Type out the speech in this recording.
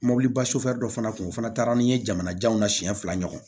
Mɔbiliba dɔ fana kun fana taara ni n ye jamana janw na siɲɛ fila ɲɔgɔn